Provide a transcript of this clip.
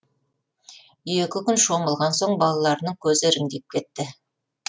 екі күн шомылған соң балаларының көзі іріңдеп кетті